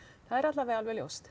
er alla vega alveg ljóst